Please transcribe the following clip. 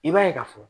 I b'a ye ka fɔ